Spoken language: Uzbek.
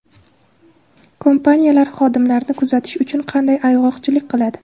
Kompaniyalar xodimlarini kuzatish uchun qanday ayg‘oqchilik qiladi?.